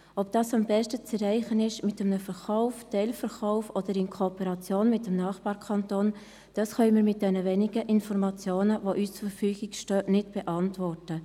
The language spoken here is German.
– Ob dies mit einem Kauf, einem Teilverkauf oder einer Kooperation mit dem Nachbarkanton am besten zu erreichen ist, können wir mit den wenigen Informationen, die uns zur Verfügung stehen, nicht beantworten.